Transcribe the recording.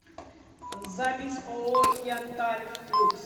запись ооо янтарь люкс